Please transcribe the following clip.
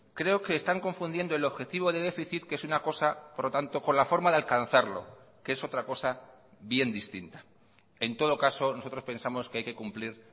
creo que están confundiendo el objetivo de déficit que es una cosa por lo tanto con la forma de alcanzarlo que es otra cosa bien distinta en todo caso nosotros pensamos que hay que cumplir